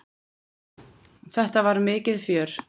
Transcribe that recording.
Þetta var mikið fjör.